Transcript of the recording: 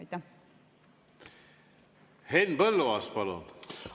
Henn Põlluaas, palun!